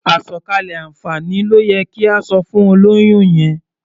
Àsọ̀kalẹ̀ àǹfààní ló yẹ kí o sọ fún olóyún yẹn.